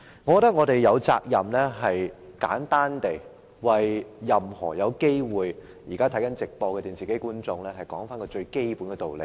我認為我們有責任為正在收看電視直播的觀眾，簡單說明一個最基本的道理。